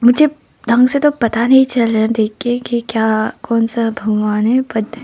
जब ढंग से तो पता नहीं चल रहा देखकर की क्या कौन सा भगवान है बट --